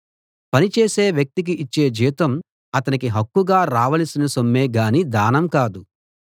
పని చేసే వ్యక్తికి ఇచ్చే జీతం అతనికి హక్కుగా రావలసిన సొమ్మే గాని దానం కాదు